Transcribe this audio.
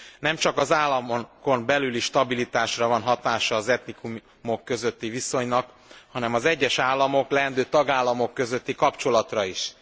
Nemcsak az államokon belüli stabilitásra van hatása az etnikumok közötti viszonynak, hanem az egyes államok, leendő tagállamok közötti kapcsolatra is.